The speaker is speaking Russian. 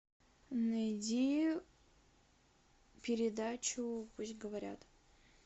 найди передачу пусть говорят